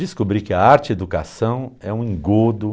Descobri que a arte-educação é um engodo.